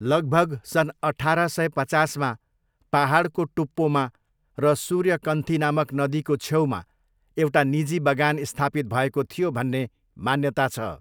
लगभग सन् अठार सय पचासमा पाहाडको टुप्पोमा र सूर्यकन्थी नामक नदीको छेउमा एउटा निजी बगान स्थापित भएको थियो भन्ने मान्यता छ।